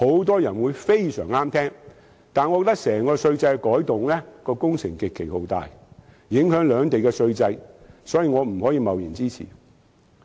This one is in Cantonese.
但是，我覺得由此而來稅制的改動工程極其浩大，影響兩地的整套稅制，所以不能貿然支持。